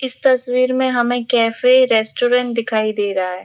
इस तस्वीर में हमें कैफे रेस्टोरेंट दिखाई दे रहा है।